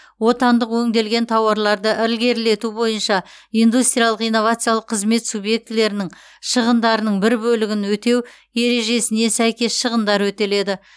отандық өңделген тауарларды ілгерілету бойынша индустриялық инновациялық қызмет субъектілерінің шығындарының бір бөлігін өтеу ережесіне сәйкес шығындар өтеледі